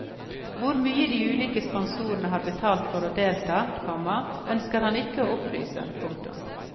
Hvor mye de ulike sponsorene har betalt for å delta, komma ønsker han ikke å opplyse om. punktum